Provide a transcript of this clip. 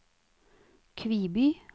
Kviby